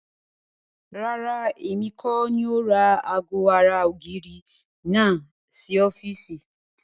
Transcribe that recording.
Rárá, èmi kọ́ni ó ra ago ara ògiri náà sì ọ́fíìsì.